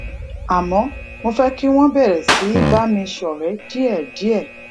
àmó mo fé kí wón bèrè sí í bá mi ṣòré díèdíè